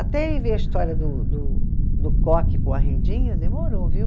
Até a história do do do coque com a rendinha, demorou, viu?